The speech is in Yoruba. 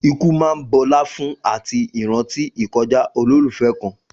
Ikú máa ń bọlá fún àti ìrántí ìkọjá olólùfẹ́ kan.